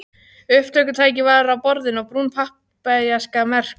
Upptökutæki var á borðinu og brún pappaaskja merkt